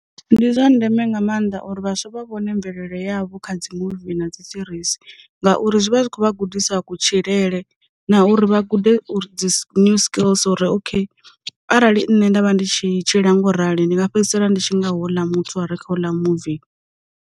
Ndi zwa ndeme nga maanḓa uri vhaswa vha vhone mvelele yavho kha dzi muvi na dzi serisi, ngauri zwi vha zwi khou vha gudisa ku tshilele na uri vha gude uri dzi new skills uri okay, arali nṋe nda vha ndi tshi tshi ḽa ngo rali ndi nga fhedzisela nditshi nga houḽa muthu a re kha u ḽa muvi.